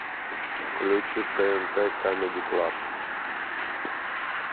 включи тнт камеди клаб